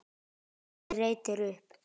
Afi reytir upp.